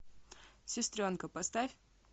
сестренка поставь